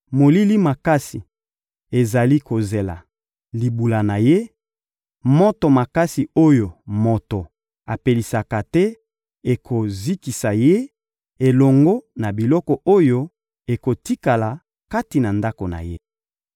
Molili makasi ezali kozela libula na ye, moto makasi oyo moto apelisi te ekozikisa ye elongo na biloko oyo ekotikala kati na ndako na ye.